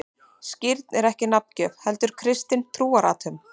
Skírn er ekki nafngjöf, heldur kristin trúarathöfn.